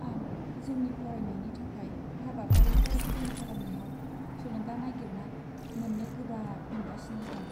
आं जोंनि फरायनायनि थाखाय हाबाफारिफोर प्लेन खालामनायाव थुलुंगा नागिरना मोन्नो गोब्राब मोनगासिनो दं।